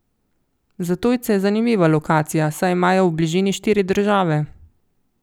Za tujce je zanimiva lokacija, saj imajo v bližini štiri države.